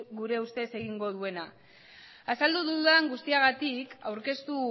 gure ustez egingo duena azaldu dudan guztiagatik aurkeztu